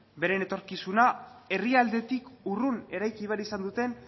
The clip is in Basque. beren etorkizuna herrialdetik urrun eraiki behar izan duten